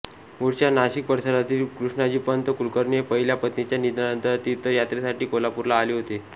मूळच्या नाशिक परिसरातील कृष्णाजीपंत कुलकर्णी हे पहिल्या पत्नीच्या निधनानंतर तीर्थयात्रेसाठी कोल्हापूरला आले होते